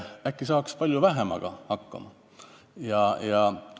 Äkki saaks palju vähemaga hakkama?